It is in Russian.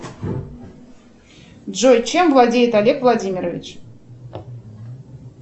джой чем владеет олег владимирович